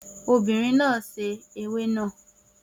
Obìnrin náà sè ewé náà